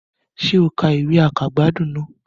Sé o ka ìwé àkàgbádùn náà